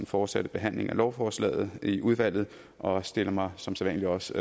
fortsatte behandling af lovforslaget i udvalget og stiller mig som sædvanlig også